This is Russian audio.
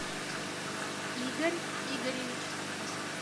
игорь игоревич